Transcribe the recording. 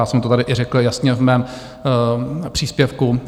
Já jsem to tady i řekl jasně v mém příspěvku.